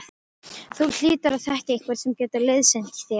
Þú hlýtur að þekkja einhvern sem getur liðsinnt þér?